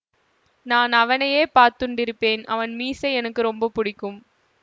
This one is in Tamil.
நான் அவனையே பாத்துண்டிருப்பேன் அவன் மீசை எனக்கு ரொம்ப பிடிக்கும்